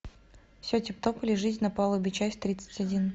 все тип топ или жизнь на палубе часть тридцать один